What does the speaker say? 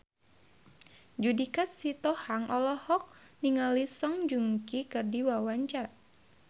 Judika Sitohang olohok ningali Song Joong Ki keur diwawancara